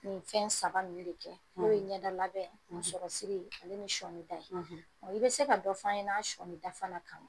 Nin fɛn saba ninnu be kɛ n'o ye ɲɛdalabɛn, musɔrɔsiri ale ni sɔɔni ta ye . i be se ka dɔ f'an ɲɛna an' sɔɔni da fana kan ?